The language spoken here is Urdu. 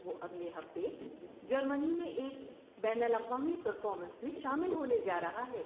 وہ اگلے ہفتے جرمنی میں ایک بین الاقوامی پرفارمنس میں شامل ہونے جا رہا ہے۔